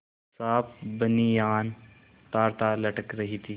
साफ बनियान तारतार लटक रही थी